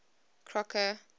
crocker